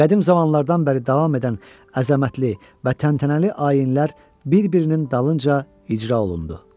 Qədim zamanlardan bəri davam edən əzəmətli və təntənəli ayinlər bir-birinin dalınca icra olundu.